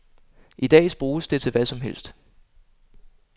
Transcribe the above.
I dag bruges det til hvad som helst.